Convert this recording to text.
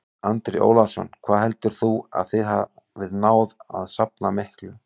Andri Ólafsson: Hvað heldurðu að þið hafið náð að safna miklu?